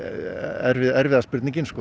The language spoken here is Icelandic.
er erfiða spurningin